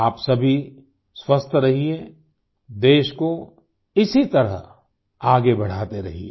आप सभी स्वस्थ रहिए देश को इसी तरह आगे बढ़ाते रहिए